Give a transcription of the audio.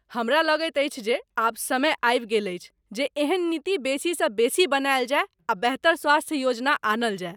हमरा लगैत अछि जे आब समै आबि गेल अछि जे एहन नीति बेसी सँ बेसी बनाएल जाय आ बेहतर स्वास्थ्य योजना आनल जाय।